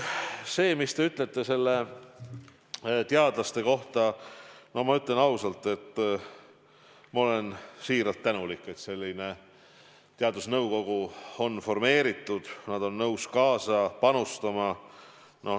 See, mis te ütlesite teadlaste kohta, ka mina kinnitan, et ma olen siiralt tänulik, et selline teadusnõukogu on formeeritud, et nad on nõus panustama.